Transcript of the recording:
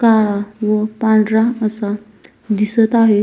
काळा व पांढरा असा दिसत आहेत.